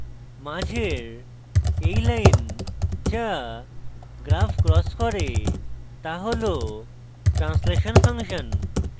মাঝের এই line যা graph crosses করে তা হল translation ফাংশন